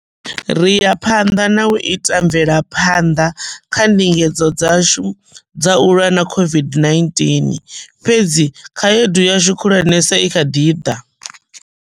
Ri ya phanḓa na u ita mvelaphanḓa kha ndingedzo dzashu dza u lwa na COVID-19, fhedzi khaedu yashu khulwanesa i kha ḓi ḓa.